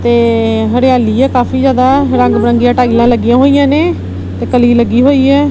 ਤੇ ਹਰਿਆਲੀ ਹੈ ਕਾਫੀ ਜਿਆਦਾ ਰੰਗ ਬਿਰੰਗੀਯਾਂ ਟਾਈਲਾਂ ਲੱਗੀਆਂ ਹੋਈਆਂ ਨੇਂ ਤੇ ਕਲੀ ਲੱਗੀ ਹੋਈ ਹੈ।